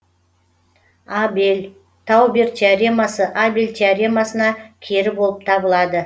абель таубер теоремасы абель теоремасына кері болып табылады